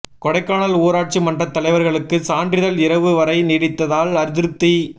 கொடைக்கானல் ஊராட்சி மன்றத் தலைவா்களுக்கு சான்றிதழ் இரவு வரை நீடித்ததால் அதிருப்தி